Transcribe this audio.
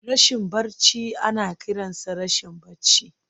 Rashin barci ana kiransa rashin barci.